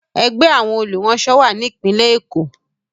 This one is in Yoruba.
Ẹgbẹ́ àwọn olùránṣọ wà ní Ìpínlẹ̀ Èkó.